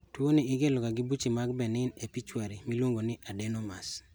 Tuo ni ikelo ga gi buche mag benign e pituitary miluongo ni adenomas